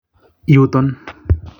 Yuton.